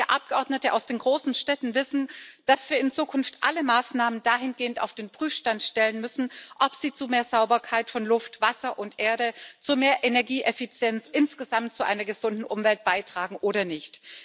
Gerade wir Abgeordneten aus den großen Städten wissen, dass wir in Zukunft alle Maßnahmen dahingehend auf den Prüfstand stellen müssen, ob sie zu mehr Sauberkeit von Luft, Wasser und Erde, zu mehr Energieeffizienz, insgesamt zu einer gesunden Umwelt beitragen oder nicht.